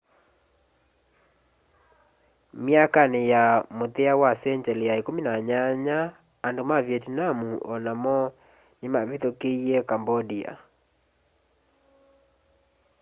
myakanĩ ya mũthia ya sengyalĩ ya 18 andũ ma vietnam o namo nĩmavithũkĩie cambodia